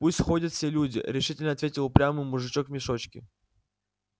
пусть ходят все люди решительно ответил упрямый мужичок в мешочке